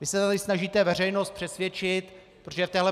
Vy se tady snažíte veřejnost přesvědčit, protože v téhle